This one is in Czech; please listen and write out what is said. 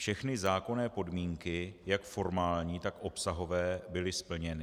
Všechny zákonné podmínky jak formální, tak obsahové byly splněny.